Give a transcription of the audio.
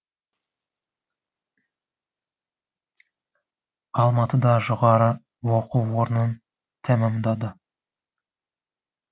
алматыда жоғары оқу орнын тәмамдады